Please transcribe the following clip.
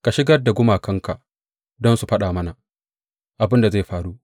Ka shigar da gumakanka don su faɗa mana abin da zai faru.